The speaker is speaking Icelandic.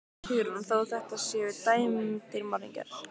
Hugrún: Þó þetta séu dæmdir morðingjar?